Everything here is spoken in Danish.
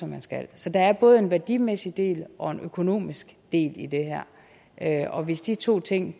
man skal så der er både en værdimæssig del og en økonomisk del i det her og hvis de to ting